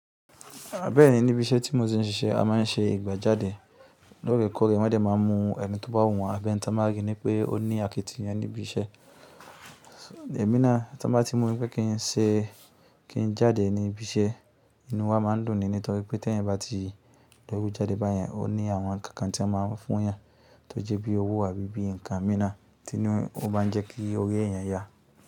Bẹ́ẹ̀ni, níbi iṣẹ́ tí mo ti ń ṣe, a máa ń ṣe ìgbẹ́jáde. Lókèkòrè wọ́n dẹ̀ má a mún ẹni tó bá wùwàn abi ní tán máa ríi wípẹ́ ó ní àkitiyan níbi iṣẹ́. Èmi náà tí wọ́n bá ti mọ̀ wípẹ́ kí n ṣe. Kí n jáde níbi iṣẹ́, inú wa máa ń dùn ni nítorí pé tí ẹ̀yin bá ti o jáde báyẹn, ó ní àwọn nǹkan tí wọ́n má a fún yàn. Tó jẹ́ bí owó àbí bí nǹkan mìíràn tí ó má ń jẹ́ kí ri eeyẹn yá.